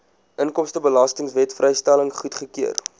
inkomstebelastingwet vrystelling goedgekeur